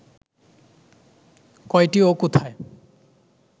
কয়টি ও কোথায়